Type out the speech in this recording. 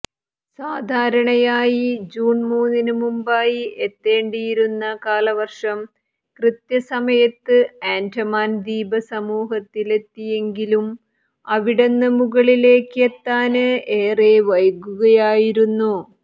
സാധാരണയായി ജൂണ് മൂന്നിന് മുമ്പായി എത്തേണ്ടിയിരുന്ന കാലവര്ഷം കൃത്യസമയത്ത് ആന്ഡമാന് ദ്വീപ സമൂഹത്തിലെത്തിയെങ്കിലും അവിടുന്ന് മുകളിലേക്ക് എത്താന് ഏറെ വൈകുകയായിരുന്നു